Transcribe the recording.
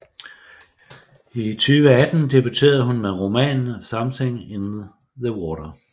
I 2018 debuterede hun med romanen Something in the Water